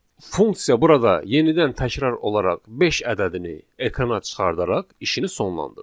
Funksiya burada yenidən təkrar olaraq beş ədədini ekrana çıxardaraq işini sonlandırır.